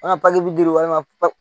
An ka papiye di walima